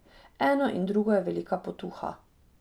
Eno in drugo je velika potuha.